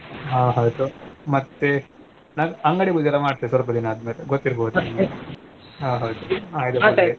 ಹಾ ಹೌದು ಮತ್ತೆ ನಾನ್ ಅಂಗಡಿ ಪೂಜೆ ಸ್ವಲ್ಪ ದಿನಾ ಆದ್ಮೇಲೆ ಗೊತ್ತಿರ್ಬೋದು ಹಾ ಹೌದು .